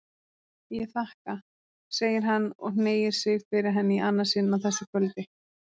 Ég þakka, segir hann og hneigir sig fyrir henni í annað sinn á þessu kvöldi.